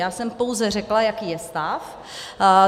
Já jsem pouze řekla, jaký je stav.